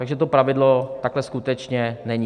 Takže to pravidlo takhle skutečně není.